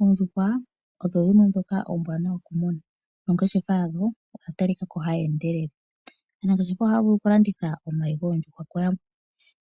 Oondjuhwa odho dhimwe ndhoka ombwaanawa okumuna noongeshefa yadho odha talika ko hadhi endelele. Aanangeshefa ohaya vulu okulanditha omayi goondjuhwa kuyamwe,